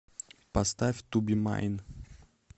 поставь ту би майн